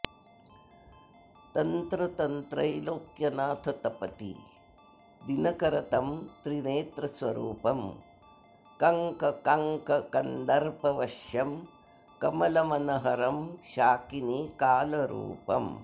तन्तन्त्रैलोक्यनाथं तपति दिनकरं तं त्रिनेत्रस्वरूपं कङ्कङ्कन्दर्पवश्यं कमलमनहरं शाकिनीकालरूपम्